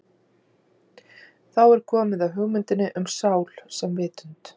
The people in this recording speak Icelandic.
Þá er komið að hugmyndinni um sál sem vitund.